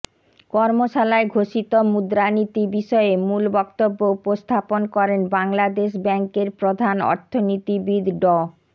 কর্মশালায় ঘোষিত মুদ্রানীতি বিষয়ে মূল বক্তব্য উপস্থাপন করেন বাংলাদেশ ব্যাংকের প্রধান অর্থনীতিবিদ ড